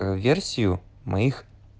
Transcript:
версию моих